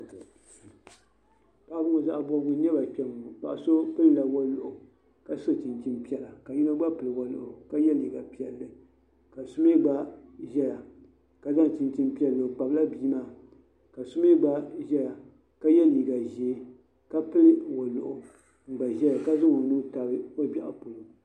Paɣib ŋɔ zaɣi bɔbigu n nyaba kpɛnŋɔ. paɣiso pilla waliɣu, kaso chinchini. piɛla kayinɔ gba pili waliɣu kaso chin chin piɛlli ,kasomi gba zɛya ka zaŋ chinchini piɛli o kpabla binmaa kasoml gba zaya ka ye liiga zɛɛ kapili waliɣu n gba zaya ka zaŋ onuu tab ogbeɣu.